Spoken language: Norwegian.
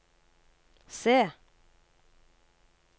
se